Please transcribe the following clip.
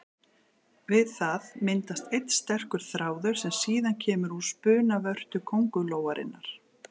Við það myndast einn sterkur þráður sem síðan kemur úr spunavörtu köngulóarinnar.